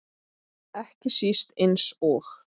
Ekki síst eins og